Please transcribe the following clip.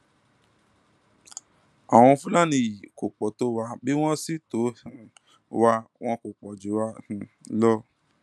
àwọn fúlàní yìí kò kúkú pọ tó wá bí wọn sì tọ um wa wọn kó pọ jù wá um lọ